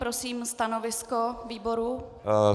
Prosím stanovisko výboru.